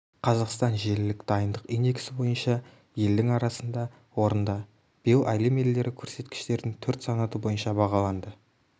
қазақстан желілік дайындық индексі бойынша елдің арасында орында биыл әлем елдері көрсеткіштердің төрт санаты бойынша бағаланды